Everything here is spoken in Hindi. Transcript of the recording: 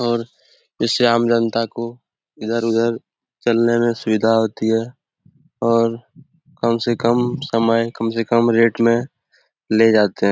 और जिससे आम जनता को इधर-उधर चलने में सुविधा होती है और कम से कम समय कम से कम रेट में ले जाते हैं।